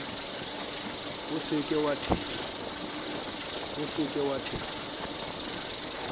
o se ke wa thetswa